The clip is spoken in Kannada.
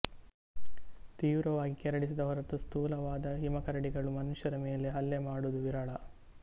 ತೀವ್ರವಾಗಿ ಕೆರಳಿಸಿದ ಹೊರತು ಸ್ಥೂಲವಾದ ಹಿಮಕರಡಿಗಳು ಮನುಷ್ಯರ ಮೇಲೆ ಹಲ್ಲೆ ಮಾಡುವುದು ವಿರಳ